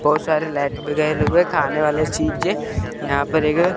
बहुत सारे लाइट भी लगे हुए है खाने वाले चीज है यहां पर एक--